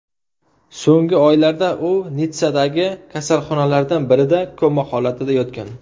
So‘nggi oylarda u Nitssadagi kasalxonalardan birida koma holatida yotgan.